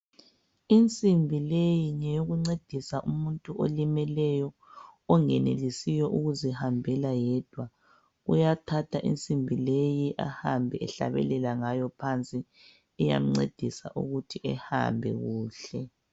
Insimbi leyi ngeyokuncedisa umuntu olimeleyo ongenelisiyo ukuzihambela yedwa uyathatha insimbi leyi ahamba ehlabelela ngayo phansi iyamncedisa ukuthi ehambe kuhle.